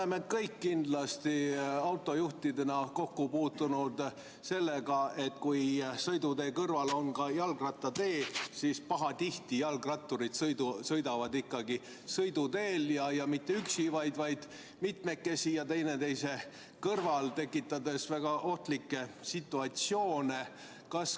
Me kõik oleme autojuhtidena kindlasti kokku puutunud sellega, et kui sõidutee kõrval on ka jalgrattatee, siis pahatihti sõidavad jalgratturid ikkagi sõiduteel ja mitte üksi, vaid mitmekesi ja teineteise kõrval, tekitades väga ohtlikke situatsioone.